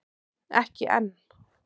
Ekki enn